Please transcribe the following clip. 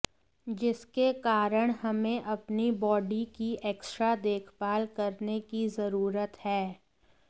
जिसके कारण हमें अपनी बॉडी की एक्ट्रा देखभाल करने की जरूरत है